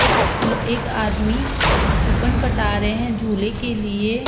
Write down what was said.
एक एक आदमी कूपन कटा रहे है झूले के लिए।